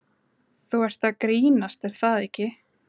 Þú ert að grínast er það ekki?